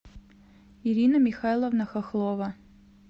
ирина михайловна хохлова